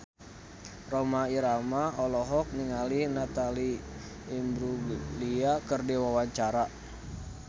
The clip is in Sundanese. Rhoma Irama olohok ningali Natalie Imbruglia keur diwawancara